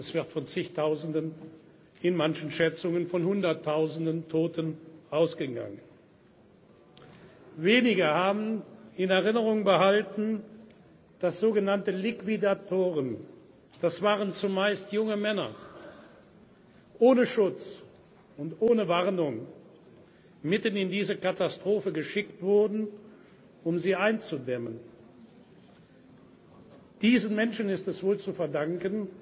Es wird von Zigtausenden, in manchen Schätzungen von Hunderttausenden Toten ausgegangen. Wenige haben in Erinnerung behalten, dass sogenannte Liquidatoren das waren zumeist junge Männer ohne Schutz und ohne Warnung mitten in diese Katastrophe geschickt wurden, um sie einzudämmen. Diesen Menschen ist es wohl zu